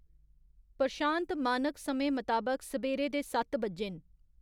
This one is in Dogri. प्रशांत मानक समें मताबक सबेरे दे सत्त बज्जे न